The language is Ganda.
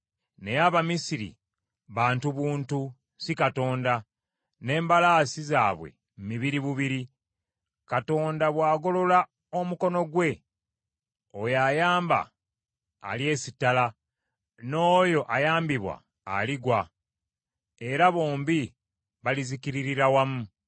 Naye Abamisiri bantu buntu si Katonda n’embalaasi zaabwe mibiri bubiri. Katonda bw’agolola omukono gwe oyo ayamba, alyesittala, n’oyo ayambibwa aligwa era bombi balizikiririra wamu.